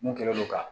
Mun kɛlen don ka